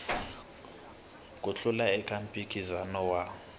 ku hlula eka mphikizano wa